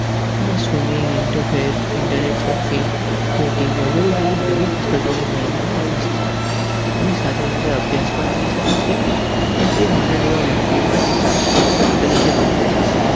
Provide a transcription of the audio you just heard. તેને swimming, interface, internet surfing, skating વગેરે જેવી નવી કુશળતા મેળવવા માં રસ છે. અમે સાથે સાથે અભ્પયાસ પણ કરી શકે છે અને તે મારા જેવા વ્યક્તિ માટે સારા શિક્ષક તરીકે વર્તે છે.